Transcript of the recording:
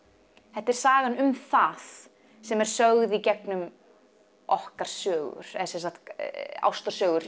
þetta er sagan um það sem er sögð í gegnum okkar sögur eða sem sagt ástarsögur